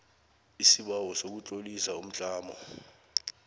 isibawo sokutlolisa umtlamo